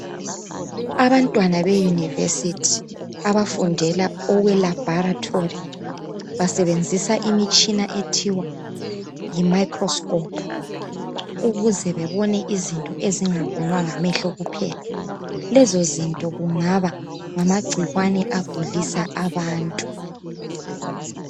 Abantwana be Univesithi ababafundela okwe labharitori basebenzisa imitshina ethiwa yi "Microscope" ukuze bebone izinto ezingabonwa ngamehlo kuphela. Lezo zinto ngamagcikwane agulisa abantu.